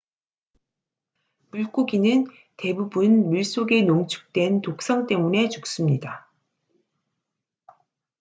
물고기는 대부분 물속의 농축된 독성 때문에 죽습니다